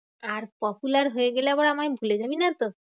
আর popular হয়ে গেলে আবার আমায় ভুলে যাবি নাতো?